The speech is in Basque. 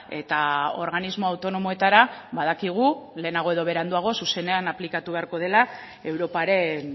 eta organismo autonomoetara badakigu lehenago edo beranduago zuzenean aplikatu beharko dela europaren